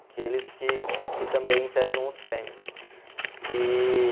Aqueles que que também entregam os prêmios. E...